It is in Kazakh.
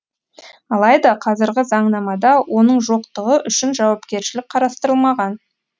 алайда қазіргі заңнамада оның жоқтығы үшін жауапкершілік қарастырылмаған